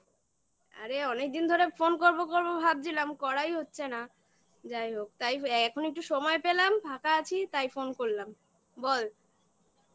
আরে অনেকদিন ধরে phone করবো করবো ভাবছিলাম করাই হচ্ছে না। যাই হোক তাই এখন একটু সময় পেলাম ফাঁকা আছি তাই phone করলাম বল